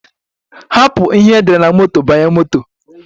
Hapụ ihe e dere na moto banye moto